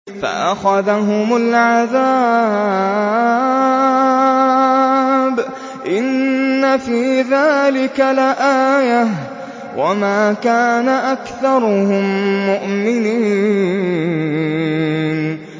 فَأَخَذَهُمُ الْعَذَابُ ۗ إِنَّ فِي ذَٰلِكَ لَآيَةً ۖ وَمَا كَانَ أَكْثَرُهُم مُّؤْمِنِينَ